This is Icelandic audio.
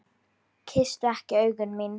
Kysstu ekki augu mín.